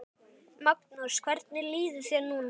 Magnús: Hvernig líður þér núna?